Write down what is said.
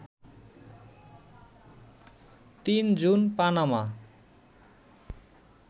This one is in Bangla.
৩ জুন পানামা